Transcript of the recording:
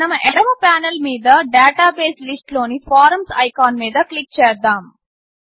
మనం ఎడమ పానెల్ మీద డాటాబేస్ లిస్ట్ లోని ఫారమ్స్ ఐకాన్ మీద క్లిక్ చేద్దాము